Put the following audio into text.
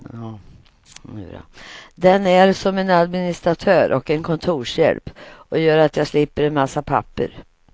Den är som en administratör och en kontorshjälp och gör att jag slipper en massa papper.